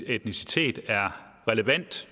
etnicitet er relevant